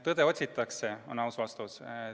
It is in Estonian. Tõde otsitakse, on aus vastus.